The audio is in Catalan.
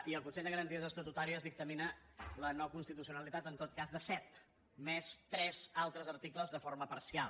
i el consell de garanties estatutàries dictamina la noconstitucionalitat en tot cas de set més tres altres articles de forma parcial